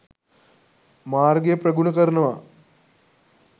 මාර්ගය ප්‍රගුණ කරනවා.